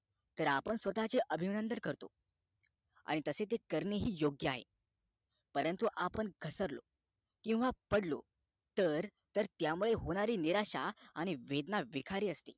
तर आपण स्वतःचे अभिनंदन करतो आणि तसे ते करणेही योग्य आहे परंतु आपण घसरलो किंवा पडलो तर तर त्या मुळे होणारी निराशा आणि वेदना विखारी असते